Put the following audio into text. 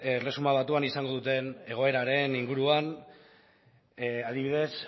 erresuma batuan izango duten egoeraren inguruan adibidez